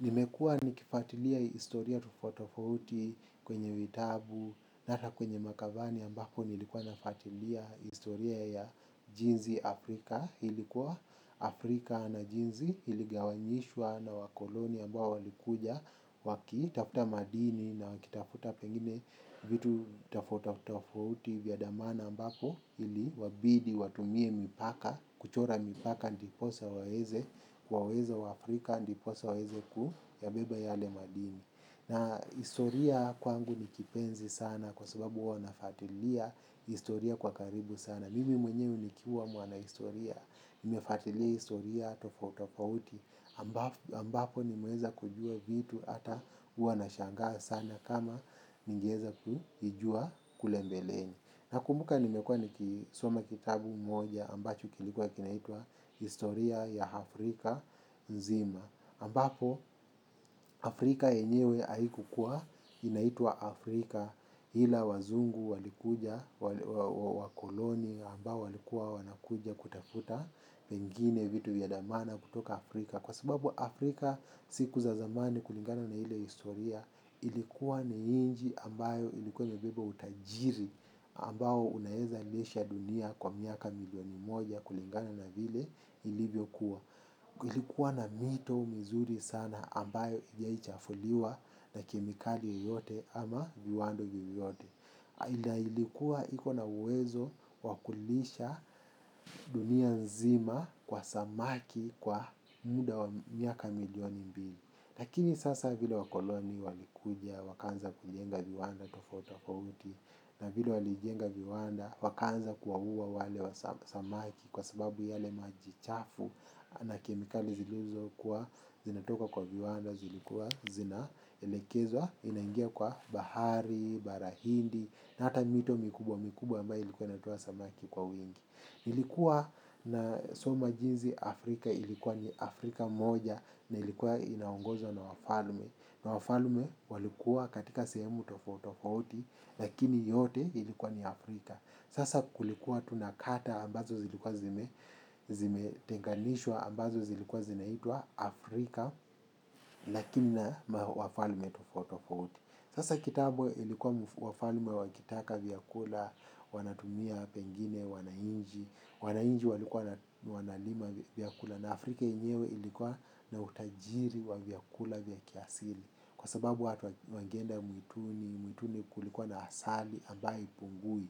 Nimekua nikifuatilia historia tufauti tofauti kwenye vitabu, hata kwenye makavani ambapo nilikuwa nafuatilia historia ya jinsi Afrika. Ilikuwa Afrika na jinsi iligawanyishwa na wakoloni ambao walikuja wakitafuta madini na wakitafuta pengine vitu tafauti tofauti vya dhamana ambapo iliwabidi watumie mipaka, kuchora mipaka ndiposa waweze, waweze wa Afrika ndiposa waweze kuyabeba yale madini. Na historia kwangu ni kipenzi sana kwa sababu huwa nafuatilia historia kwa karibu sana. Mimi mwenyewe nikiwa mwanahistoria, nimefuatilia historia tofauti tafauti ambapo nimeweza kujua vitu hata huwa nashangaa sana kama ningeweza kujua kule mbeleni. Na kumbuka nimekua nikisoma kitabu moja ambacho kilikuwa kinaitwa Historia ya Afrika Nzima. Ambapo Afrika yenyewe haikukua inaitwa Afrika ila wazungu walikuja, wakoloni ambao walikuwa wanakuja kutafuta pengine vitu vya dhamana kutoka Afrika. Kwa sababu Afrika siku za zamani kulingana na ile historia ilikuwa ni nji ambayo ilikuwa imebeba utajiri ambao unaeza lisha dunia kwa miaka milioni moja kulingana na vile ilivyo kuwa. Ilikuwa na mito mizuri sana ambayo hijawai chafuliwa na kemikali yoyote ama viwanda vyovyote. Na ilikuwa iko na uwezo wakulisha dunia nzima kwa samaki kwa muda wa miaka milioni mbili. Lakini sasa vile wakoloni walikuja wakaanza kujenga viwanda tafauti tafauti. Na vile walijenga viwanda wakaanza kuwa ua wale samaki kwa sababu yale maji chafu. Na kemikali zilizo kuwa zinatoka kwa viwanda zilikuwa zina elekezwa zinaingia kwa bahari, barahindi. Na hata mito mikubwa mikubwa ambayo ilikuwa inatowa samaki kwa wingi. Ilikuwa na soma jinsi Afrika ilikuwa ni Afrika moja na ilikuwa inaongozwa na wafalme. Na wafalme walikuwa katika sehemu tofauti tofauti lakini yote ilikuwa ni Afrika. Sasa kulikuwa tu na kata ambazo zilikuwa zimetenganishwa ambazo zilikuwa zinaitwa Afrika na kina wafalme tofauti tafauti. Sasa kitambo ilikuwa wafalme wakitaka vyakula, wanatumia pengine, wananchi, wananchi walikuwa wanalima vyakula na Afrika yenyewe ilikuwa na utajiri wa vyakula vya kiasili kwa sababu watu wangeenda mwituni, mwituni kulikuwa na asali ambayo haipungui.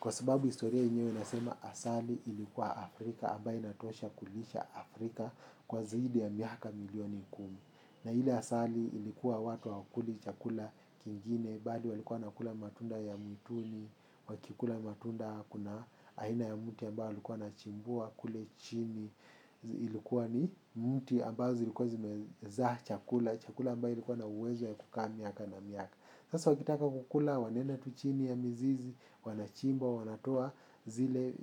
Kwa sababu historia yenyewe inasema asali ilikuwa Afrika, ambayo inatosha kulisha Afrika kwa zaidi ya miaka milioni kumi. Na ile asali ilikuwa watu hawakuli chakula kingine, bali walikuwa wanakula matunda ya mwituni, wakikula matunda kuna aina ya mti ambayo walikuwa wanachimbua, kule chini, ilikuwa ni miti ambazo zilikuwa zimezaa chakula, chakula ambayo likuwa na uwezo ya kukaa miaka na miaka. Sasa wakitaka kukula wanaenda tu chini ya mizizi, wanachimba, wanatoa zile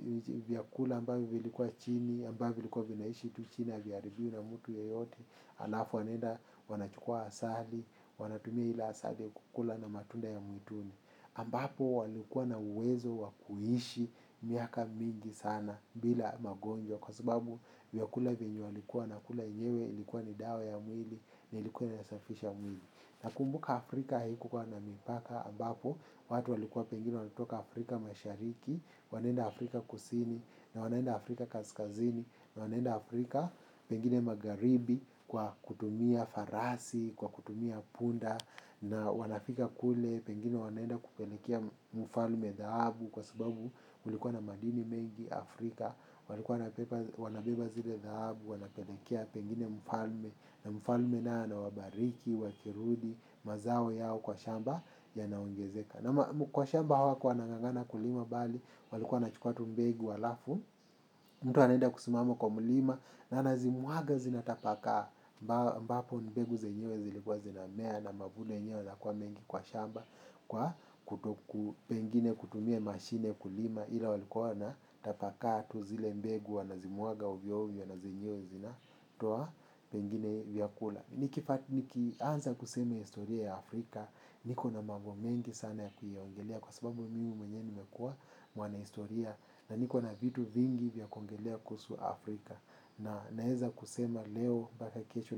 vyakula ambavyo vilikuwa chini, ambavyo vilikuwa vinaishi tu chini ya haviharibiwi na mtu yoyote, alafu wanaenda wanachukua asali, wanatumia ile asali ya kukula na matunda ya mwituni. Ambapo walikuwa na uwezo wakuishi miaka mingi sana bila magonjwa kwa sababu vyakula vyenye walikuwa wana kula yenyewe ilikuwa ni dawa ya mwili na ilikuwa inasafisha mwili. Na kumbuka Afrika haikukuwa na mipaka ambapo, watu walikua pengine wanatoka Afrika mashariki, wanaenda Afrika kusini, na wanaenda Afrika kaskazini, na wanaenda Afrika pengine magharibi kwa kutumia farasi, kwa kutumia punda, na wanafika kule pengine wanaenda kupelekea mfalme dhahabu kwa subabu kulikua na madini mengi Afrika. Walikuwa wanabeba zile dhahabu, wanapelekea pengine mfalme. Na mfalme naye anawabariki, wakirudi, mazao yao kwa shamba yanaongezeka. Na kwa shamba hawako anangangana kulima bali walikuwa wanahukua tu mbegu alafu mtu anenda kusimama kwa mlima. Na anazimwaga zinatapakaa ambapo mbegu zenyewe zilikuwa zinamea. Na mavuno yenyewe inakua mengi kwa shamba pengine. Kwa kutokutumia mashine kulima ila walikua na tapakaa tu zile mbegu wanazimwaga ovyo ovyo na zenyewe zinatoa pengine vyakula. Nikianza kusema historia ya Afrika niko na mambo mengi sana ya kuyaongelia kwa sababu mimi mwenye nimekua mwana historia na nikona vitu vingi vya kuongelea kuhusu Afrika na naeza kusema leo mpaka kesho.